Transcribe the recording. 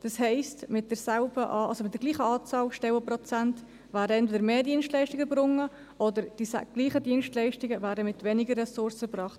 Das heisst, mit denselben Stellenprozenten werden eher mehr Dienstleistungen erbracht, oder dieselben Dienstleistungen werden mit weniger Ressourcen erbracht.